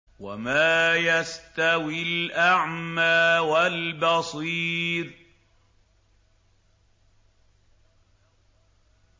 وَمَا يَسْتَوِي الْأَعْمَىٰ وَالْبَصِيرُ